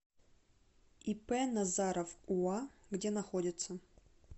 ип назаров уа где находится